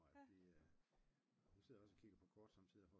Hun sidder også og kigger på kort sommetider